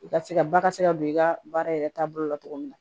I ka se ka ba ka se ka don i ka baara yɛrɛ taabolo la cogo min na